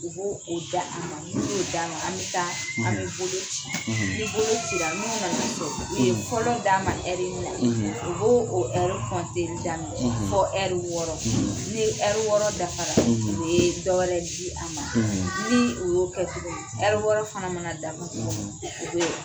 U b'o o d'a ma n'o d'a ma an bɛ taa an bɛ bolo ci ni bolo cira n'u na na so u ye fɔlɔ d'a ma ɛri min na u b'o o ɛri kɔnteli daminɛ fɔ ɛri wɔɔrɔ ne ɛri wɔɔrɔ dafara o bɛ dɔ wɛrɛ di a ma ni o y'o kɛ tuguni ɛri wɔɔrɔ fana mana dafa